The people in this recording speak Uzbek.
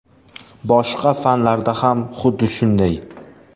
Boshqa fanlarda ham xuddi shunday.